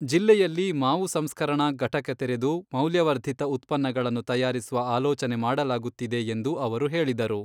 ಜಿಲ್ಲೆಯಲ್ಲಿ ಮಾವು ಸಂಸ್ಕರಣಾ ಘಟಕ ತೆರೆದು ಮೌಲ್ಯವರ್ದಿತ ಉತ್ಪನ್ನಗಳನ್ನು ತಯಾರಿಸುವ ಆಲೋಚನೆ ಮಾಡಲಾಗುತ್ತಿದೆ ಎಂದು ಅವರು ಹೇಳಿದರು.